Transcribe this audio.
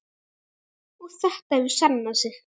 Og þetta hefur sannað sig.